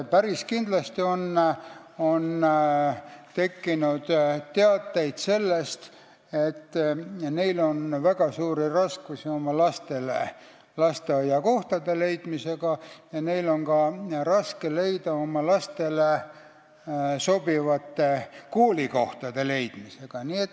Päris kindlasti on teateid sellest, et neil on väga suuri raskusi oma lastele lasteaiakohtade leidmisega ja neil on ka raskusi oma lastele sobivate koolikohtade leidmisega.